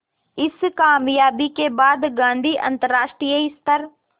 इस क़ामयाबी के बाद गांधी अंतरराष्ट्रीय स्तर